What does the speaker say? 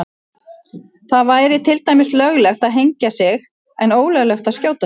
Það væri til dæmis löglegt að hengja sig en ólöglegt að skjóta sig.